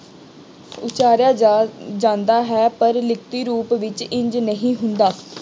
ਉਸਾਰਿਆ ਜਾ ਜਾਂਦਾ ਹੈ ਪਰ ਲਿਖਤੀ ਰੂਪ ਵਿੱਚ ਇੰਝ ਨਹੀਂ ਹੁੰਦਾ।